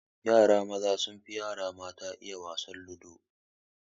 Yara maza sun fi yara mata iya wasan ludo